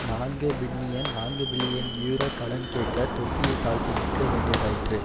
நான்கு பில்லியன் நான்குபில்லியன் யூரோ கடன் கேட்க தொப்பியை தாழ்த்தி நிற்க வேண்டியதாயிற்று